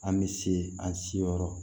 An bɛ se an si yɔrɔ